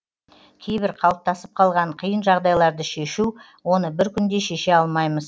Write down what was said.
кейбір қалыптасып қалған қиын жағдайларды шешу оны бір күнде шеше алмаймыз